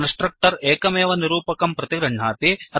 constructor एकमेव निरूपकं प्रतिगृह्णाति